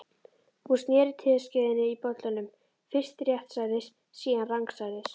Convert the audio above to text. Hún sneri teskeiðinni í bollanum, fyrst réttsælis, síðan rangsælis.